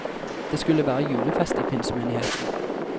Det skulle være julefest i pinsemenigheten.